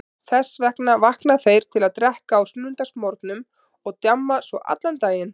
Þess vegna vakna þeir til að drekka á sunnudagsmorgnum og djamma svo allan daginn.